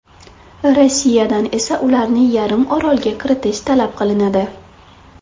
Rossiyadan esa ularni yarim orolga kiritish talab qilinadi.